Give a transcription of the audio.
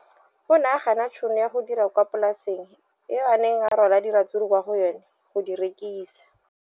O ne a gana tšhono ya go dira kwa polaseng eo a neng rwala diratsuru kwa go yona go di rekisa.